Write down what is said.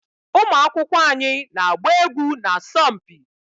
ụmụ akwụkwọ anyị na-agba egwu na asọmpi